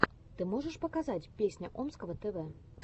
ты можешь показать песня омского тв